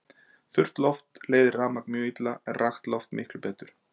Þurrt loft leiðir rafmagn mjög illa en rakt loft miklu betur.